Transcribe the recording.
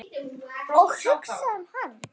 Og hugsa um hann.